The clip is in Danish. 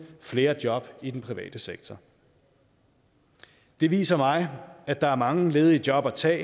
flere job i den private sektor det viser mig at der er mange ledige job at tage